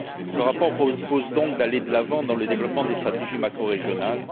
Ce rapport propose donc d'aller de l'avant dans le développement des stratégies macrorégionales.